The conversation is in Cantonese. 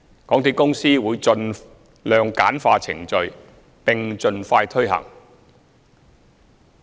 港鐵公司會盡量簡化程序，並盡快推行計劃。